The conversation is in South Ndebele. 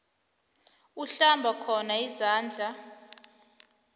uhlamba khona izandla